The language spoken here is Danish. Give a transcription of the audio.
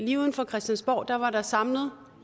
lige uden for christiansborg var der samlet